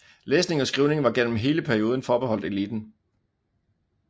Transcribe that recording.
Læsning og skrivning var gennem hele perioden forbeholdt eliten